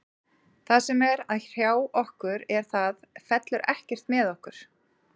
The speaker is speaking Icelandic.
Það sem er að hrjá okkur er að það fellur ekkert með okkur.